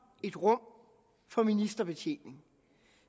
et rum for ministerbetjening